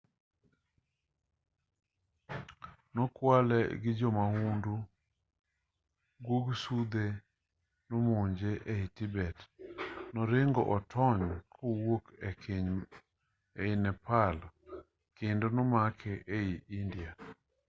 nokwale gi jo mahundu guog sudhe nomonje ei tibet noringo otony kowuok e keny ei nepal kendo nomake ei india